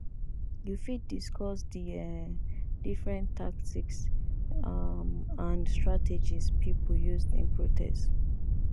you fit discuss di um different tactics um and strategies people used in protest